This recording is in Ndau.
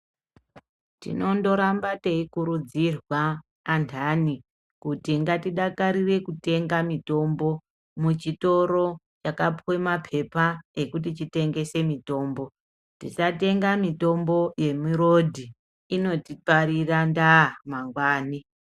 Tinondoramba teikurudzirwa andani kuti ngatidakarire kutenga mitombo muchitoro chakapuwe mapepa ekuti chitengese mitombo. Tisatenga mitombo yemirodhi. Inotiparira ndaa mangwani.